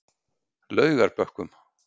Laugarbökkum